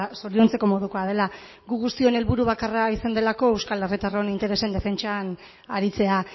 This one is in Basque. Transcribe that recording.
zoriontzeko modukoa dela gu guztion helburu bakarra izan delako euskal herritarron interesen defentsan aritzea